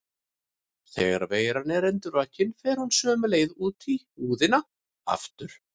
Þegar veiran er endurvakin fer hún sömu leið út í húðina aftur.